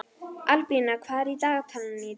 Albína, hvað er í dagatalinu í dag?